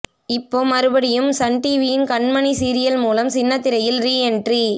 இப்போ மறுபடியும் சன் டிவியின் கண்மணி சீரியல் மூலம் சின்னத் திரையில் ரீ என்ட்ரி